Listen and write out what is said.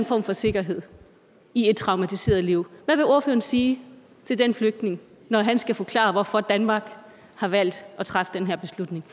form for sikkerhed i et traumatiseret liv hvad vil ordføreren sige til den flygtning når han skal forklare hvorfor danmark har valgt at træffe den her beslutning